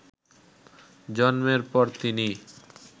জন্মের পর তিনি